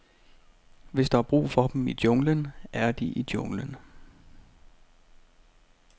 Hvis der er brug for dem i junglen, er de i junglen.